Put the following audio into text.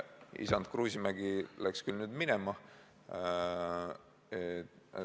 Isand Kruusimägi ise on nüüdseks küll minema läinud.